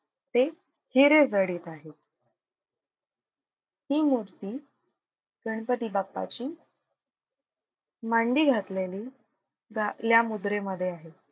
ते हिरेजडित आहेत. हि मूर्ती गणपती बाप्पाची मांडी घातलेली दा या मुद्रे मध्ये आहे.